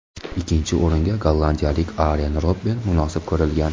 Ikkinchi o‘ringa gollandiyalik Aren Robben munosib ko‘rilgan.